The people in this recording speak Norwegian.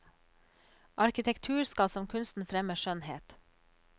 Arkitektur skal som kunsten fremme skjønnhet.